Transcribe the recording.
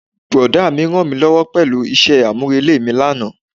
Brọ̀dá mi rànmílówó pẹ̀lú isẹ́ àmúrelé mi lánàá.